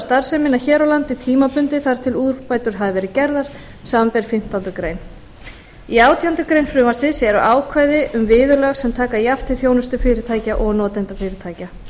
starfsemina hér á landi tímabundið þar til úrbætur hafa verið gerðar samanber fimmtándu grein í átjándu grein frumvarpsins eru ákvæði um viðurlög sem taka jafnt til þjónustufyrirtækja og notendafyrirtækja